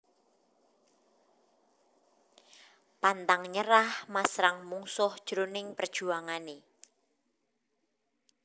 Pantang nyerah masrang mungsuh jroning perjuangané